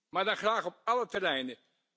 Maar dan graag op alle terreinen!